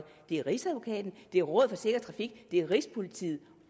det er rigsadvokaten det er rådet for sikker trafik det er rigspolitiet